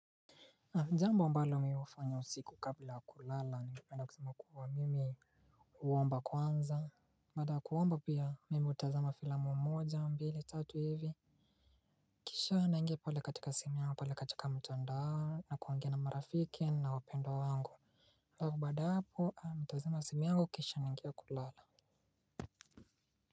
Jambo ambalo mi hufanya usiku kabla kulala ningependa kusema kuwa mimi uwomba kwanza baada ya kuomba pia mimi hutazama filamu mmoja mbili tatu hivi. Kisha naingia pale katika simu yangu pale katika mtandao na kuongea na marafiki na wapendwa wangu. Lau bada hapo amitazima simi angu kisha naingia kulala.